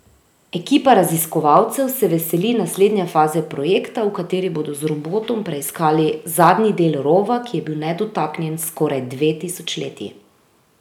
Ekipa raziskovalcev se veseli naslednje faze projekta, v kateri bodo z robotom preiskali zadnji del rova, ki je bil nedotaknjen skoraj dve tisočletji.